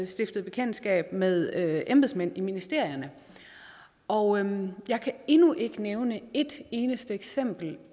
stiftet bekendtskab med embedsmænd i ministerierne og jeg kan endnu ikke nævne et eneste eksempel